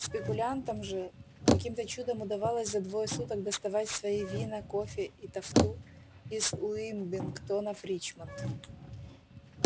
спекулянтам же каким-то чудом удавалось за двое суток доставать свои вина кофе и тафту из уилмингтона в ричмонд